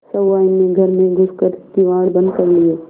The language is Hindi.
सहुआइन ने घर में घुस कर किवाड़ बंद कर लिये